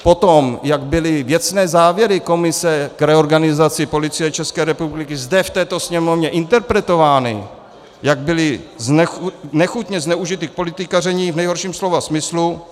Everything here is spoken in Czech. Potom, jak byly věcné závěry komise k reorganizaci Policie České republiky zde v této Sněmovně interpretovány, jak byly nechutně zneužity k politikaření v nejhorším slova smyslu.